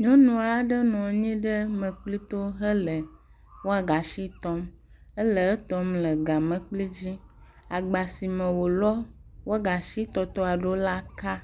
Nyɔnu aɖe nɔ anyi ɖe mekpli to hele wadashi tɔm. Ele etɔm le egamlekpi dzi. Agba si me wolɔ wɔgashi tɔtɔ ɖo la ka.